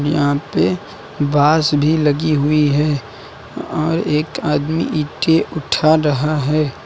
यहां पे बांस भी लगी हुई है और एक आदमी ईंटें उठा रहा है।